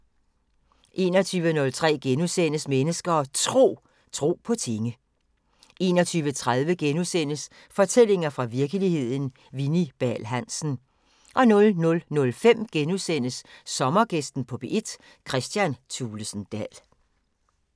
21:03: Mennesker og Tro: Tro på tinge * 21:30: Fortællinger fra virkeligheden – Vini Bahl Hansen * 00:05: Sommergæsten på P1: Kristian Thulesen Dahl *